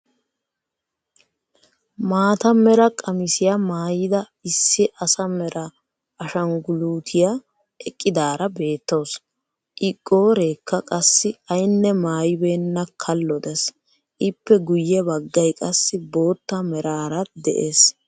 Maata mera qamisiyaa maayida issi asa mera ashangulutiyaa eqqidaara beettawus. I qooreekka qassi aynne maayibenna kallo dees. Ippe guyye baggay qassi boottaa meraara de'ees.